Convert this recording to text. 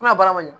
Na baara man ɲi